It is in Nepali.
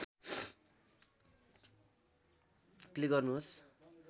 क्लिक गर्नुहोस्